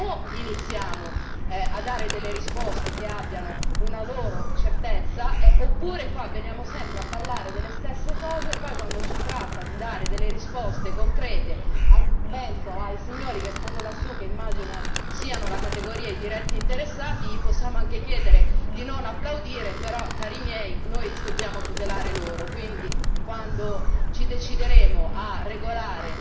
Perché o iniziamo a dare delle risposte che abbiano una loro certezza oppure veniamo sempre a parlare delle stesse cose, e poi quando si tratta di dare delle risposte concrete, penso ai signori che stanno lassù, che immagino siano la categoria e i diretti interessati, gli possiamo anche chiedere di non applaudire, però cari miei noi dobbiamo tutelare loro, quindi quando ci decideremo a regolare